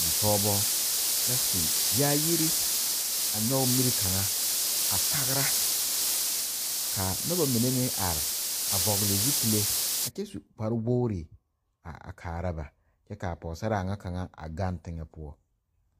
Bipɔgeba la su yaayiri a nyɔge miri kaŋa a tagra ka noba mine meŋ are a vɔgle zupile a kyɛ su kparewogri a kaara ba kyɛ k,a pɔgesaraa ŋa kaŋa a gaŋ teŋɛ poɔ.